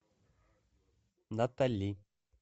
натали